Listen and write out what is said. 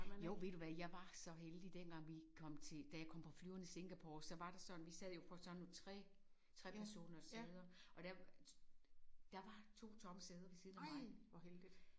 Jo ved du hvad jeg var så heldig dengang vi kom til da jeg kom på flyveren i Singapore så var der sådan vi sad jo på sådan nogle 3 3 personers sæder og der der var 2 tomme sæder ved siden af mig